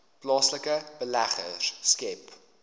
plaaslike beleggers skep